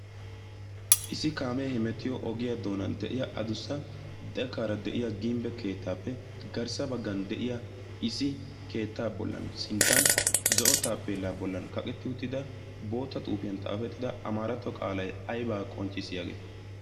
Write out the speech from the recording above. isi kaamee hemetiyo ogiyaa doonan de'iya adussa dekaara de'iya gimbbe keettaappe garssa baggan de'iya isi keettaa bollan sinttan zo'o taa peellaa bollan kaqetti uttida bootta xuufiyan xaafettida amaaratto qaalay aybaa qoncciss yaagee